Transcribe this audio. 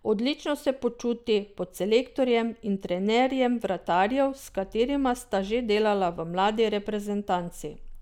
Odlično se počuti pod selektorjem in trenerjem vratarjev, s katerima sta že delala v mladi reprezentanci.